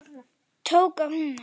Tók af hnúann.